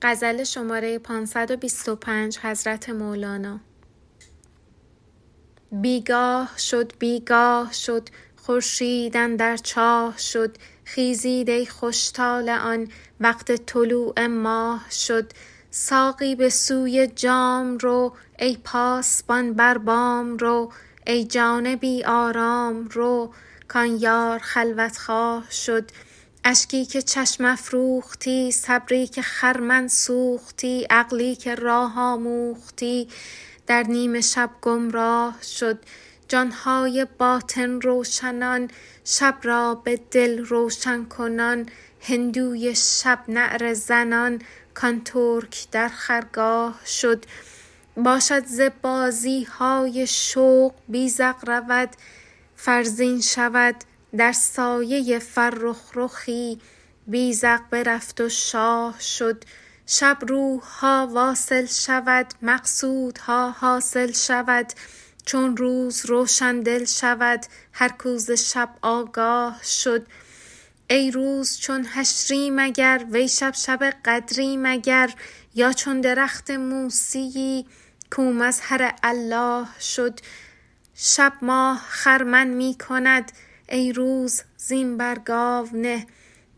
بی گاه شد بی گاه شد خورشید اندر چاه شد خیزید ای خوش طالعان وقت طلوع ماه شد ساقی به سوی جام رو ای پاسبان بر بام رو ای جان بی آرام رو کان یار خلوت خواه شد اشکی که چشم افروختی صبری که خرمن سوختی عقلی که راه آموختی در نیم شب گمراه شد جان های باطن روشنان شب را به دل روشن کنان هندوی شب نعره زنان کان ترک در خرگاه شد باشد ز بازی های خوش بیذق رود فرزین شود در سایه فرخ رخی بیذق برفت و شاه شد شب روح ها واصل شود مقصودها حاصل شود چون روز روشن دل شود هر کو ز شب آگاه شد ای روز چون حشری مگر وی شب شب قدری مگر یا چون درخت موسیی کو مظهر الله شد شب ماه خرمن می کند ای روز زین بر گاو نه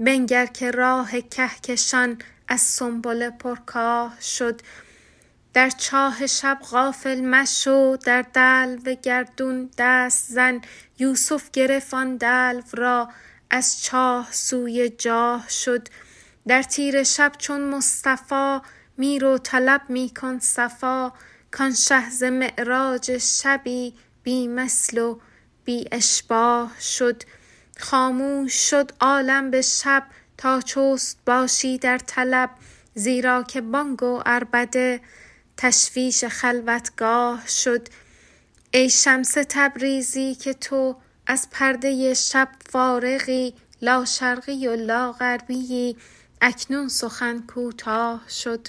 بنگر که راه کهکشان از سنبله پرکاه شد در چاه شب غافل مشو در دلو گردون دست زن یوسف گرفت آن دلو را از چاه سوی جاه شد در تیره شب چون مصطفی می رو طلب می کن صفا کان شه ز معراج شبی بی مثل و بی اشباه شد خاموش شد عالم به شب تا چست باشی در طلب زیرا که بانگ و عربده تشویش خلوتگاه شد ای شمس تبریزی که تو از پرده شب فارغی لاشرقی و لاغربیی اکنون سخن کوتاه شد